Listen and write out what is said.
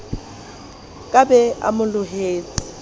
ka be a mo lohetse